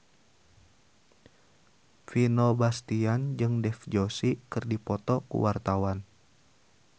Vino Bastian jeung Dev Joshi keur dipoto ku wartawan